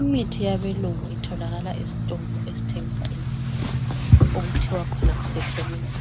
Imithi yabelungu itholakala esitolo esitshengisa imithi okuthiwa khona kusechemis